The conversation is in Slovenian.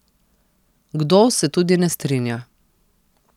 Kdo se tudi ne strinja.